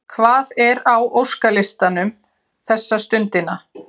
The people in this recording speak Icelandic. Hvað er á óskalistanum þessa stundina?